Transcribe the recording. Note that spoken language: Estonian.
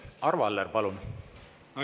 Arvo Aller, palun!